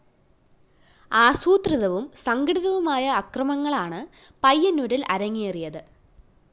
ആസൂത്രിതവും സംഘടിതവുമായ അക്രമങ്ങളാണ് പയ്യന്നൂരില്‍ അരങ്ങേറിയത്